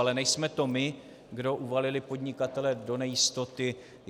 Ale nejsme to my, kdo uvalili podnikatele do nejistoty.